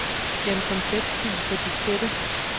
Gem som tekstfil på diskette.